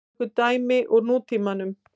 Tökum dæmi úr nútímanum.